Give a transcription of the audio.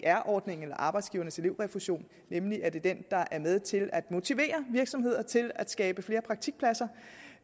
aer ordningen arbejdsgivernes elevrefusion nemlig at den er med til at motivere virksomheder til at skabe flere praktikpladser